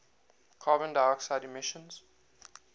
carbon dioxide emissions